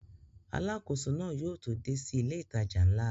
Alákóso náà yóò tó dé sí ilé ìtajà ńlá